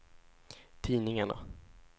tidningarna